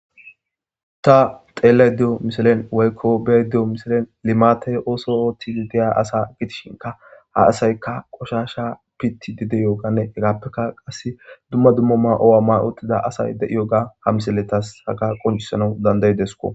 ta xeellay deyo miselen waykko bey deyo misilen limate ooso oothtii deya asa gitishinka ha asaykka qoshasha pitti dide yoganne hegappekka qasse dumma dummama owa ma uxida asay de7iyoga ha miseletas haga qoncisanau dandaydesko